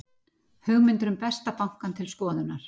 Hugmyndir um Besta bankann til skoðunar